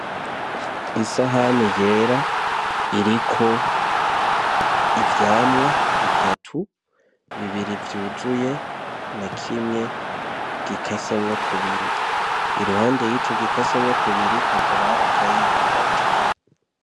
Isahani yera iriko ivyamwa bitatu bibiri vyuzuye na kimwe gikasemwo kubiri iruhande y'ico gikasemwo kubiri hakaba hari akayiko gato.